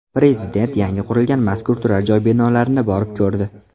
Prezident yangi qurilgan mazkur turar-joy binolarini borib ko‘rdi.